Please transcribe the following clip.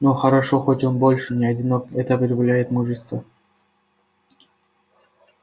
но хорошо хоть он больше не одинок это прибавляет мужества